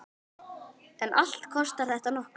En allt kostar þetta nokkuð.